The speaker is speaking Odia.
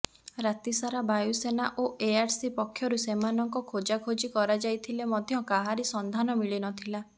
ରାତିସାରା ବାୟୁସେନା ଓ ଏଆରସି ପକ୍ଷରୁ ସେମାନଙ୍କ ଖୋଜାଖୋଜି କରାଯାଇଥିଲେ ମଧ୍ୟ କାହାରି ସଂଧାନ ମିଳି ନଥିଲା